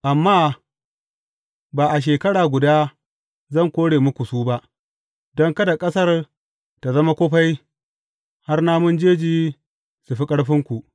Amma ba a shekara guda zan kore muku su ba, don kada ƙasar tă zama kufai har namun jeji su fi ƙarfinku.